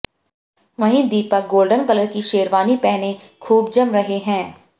वहीं Deepak golden colour की शेरवानी पहने हुए खूब जम रहे हैं